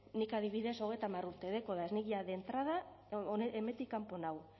nik adibidez hogeita hamar urte dakot nik ja de entrada hemendik kanpo nago